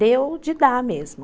Deu de dar mesmo.